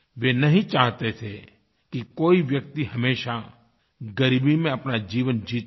वे नहीं चाहते थे कि कोई व्यक्ति हमेशा ग़रीबी में अपना जीवन जीता रहे